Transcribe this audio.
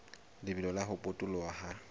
lebelo la ho potoloha ha